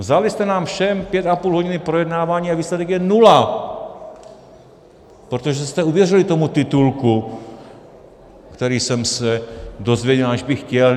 Vzali jste nám všem pět a půl hodiny projednávání, a výsledek je nula, protože jste uvěřili tomu titulku, který jsem se dozvěděl, aniž bych chtěl.